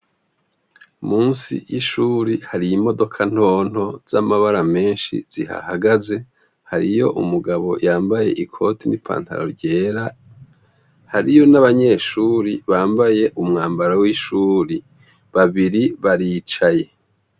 Musi y'ishuri hari imodoka ntonto z'amabara meshi zihahagaze, hariyo umugabo yambaye ikoti n'ipantaro ryera, hariyo n'abanyeshuri bambaye umwambaro w'ishuri. Babiri baricaye.